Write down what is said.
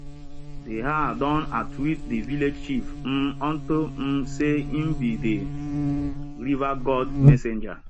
de har don outwit de village chief um unto um sey im be de river god messenger